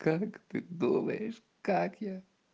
как ты думаешь как я